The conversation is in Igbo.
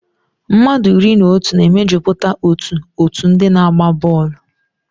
Mmadụ iri na otu na-emejupụta otú òtù ndị na-agba bọọlụ.